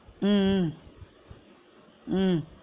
உம் உம் உம்